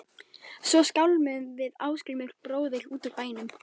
Svo skálmuðum við Ásgrímur bróðir út úr bænum.